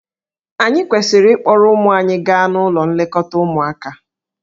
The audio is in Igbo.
Ànyị kwesịrị ịkpọrọ ụmụ anyị gaa n'ụlọ nlekọta ụmụaka?